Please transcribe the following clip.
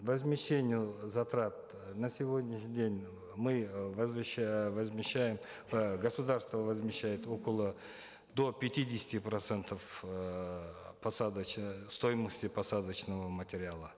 возмещению затрат э на сегодняшний день мы э возмещаем э государство возмещает около до пятидесяти процентов э э стоимости посадочного материала